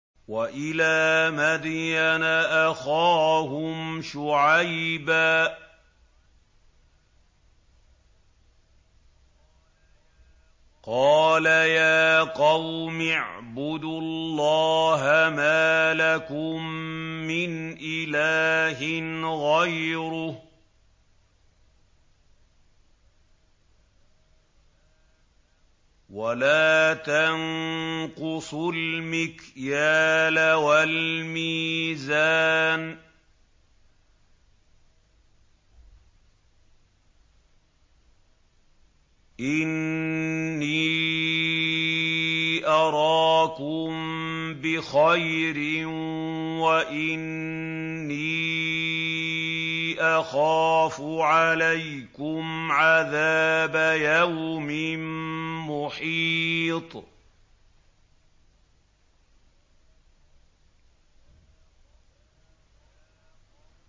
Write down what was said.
۞ وَإِلَىٰ مَدْيَنَ أَخَاهُمْ شُعَيْبًا ۚ قَالَ يَا قَوْمِ اعْبُدُوا اللَّهَ مَا لَكُم مِّنْ إِلَٰهٍ غَيْرُهُ ۖ وَلَا تَنقُصُوا الْمِكْيَالَ وَالْمِيزَانَ ۚ إِنِّي أَرَاكُم بِخَيْرٍ وَإِنِّي أَخَافُ عَلَيْكُمْ عَذَابَ يَوْمٍ مُّحِيطٍ